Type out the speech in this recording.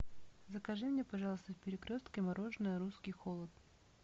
закажи мне пожалуйста в перекрестке мороженое русский холод